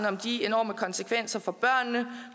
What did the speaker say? om de enorme konsekvenser for børnene